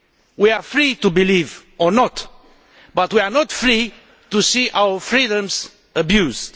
We are free to believe or not, but we are not free to see our freedoms abused.